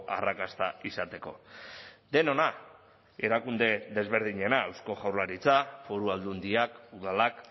arrakasta izateko denona erakunde desberdinena eusko jaurlaritza foru aldundiak udalak